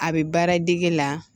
A bɛ baara dege la